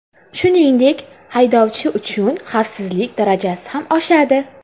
Shuningdek, haydovchi uchun xavfsizlik darajasi ham oshadi.